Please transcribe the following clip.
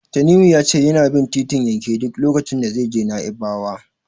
Tanimu ya ce yana bin titin yanke duk lokacin da zai je Na'ibawa.